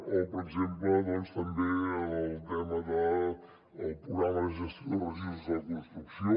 o per exemple doncs també el tema del programa de gestió de residus de la construcció